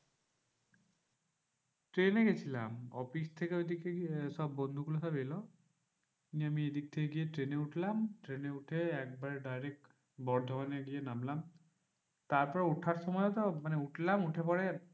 ট্রেনে গেছিলাম অফিস থেকে ঐদিকে সব বন্ধুগুলো সব এলো নিয়ে আমি এদিক থেকে গিয়ে ট্রেনে উঠলাম। ট্রেনে উঠে একবারে direct বর্ধমানে গিয়ে নামলাম। তারপরে উঠার সময়ও তো মানে উঠলাম উঠে পরে